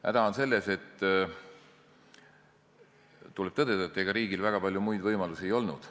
Häda on selles, et tuleb tõdeda, et ega riigil väga palju muid võimalusi ei olnud.